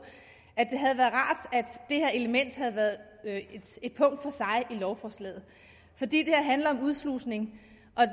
at at det her element havde været et punkt for sig i lovforslaget for det handler om udslusning